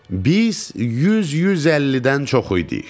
Biz 100-150-dən çox idik.